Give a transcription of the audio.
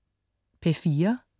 P4: